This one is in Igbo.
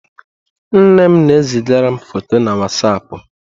Nne m na e zigara m fọtọ na wazapụ.